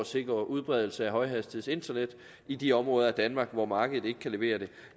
sikre udbredelse af højhastighedsinternet i de områder af danmark hvor markedet ikke kan levere det